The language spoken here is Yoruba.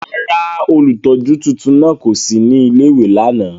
Rárá, ólutọju tuntun náa ko si ni ìlé-ìwé làná.